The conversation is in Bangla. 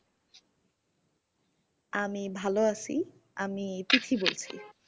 আমি ভালো আছি। আমি প্রীতি বলছি।